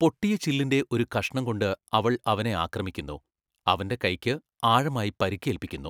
പൊട്ടിയ ചില്ലിന്റെ ഒരു കഷ്ണം കൊണ്ട് അവൾ അവനെ ആക്രമിക്കുന്നു, അവന്റെ കൈക്ക് ആഴമായി പരിക്കേൽപ്പിക്കുന്നു.